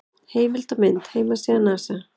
Heimild og mynd: Heimasíða NASA.